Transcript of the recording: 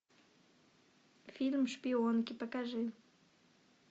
фильм шпионки покажи